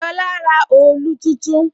Lola ra òòlù tuntun